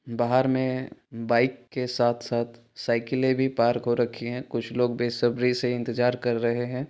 बाहर मे बाइक के साथ साथ साइकिले भी पार्क हो रखी है कुछ लोग बेसबरी से इंतजार कर रहे है।